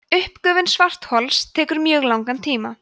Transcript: uppgufun svarthols tekur mjög langan tíma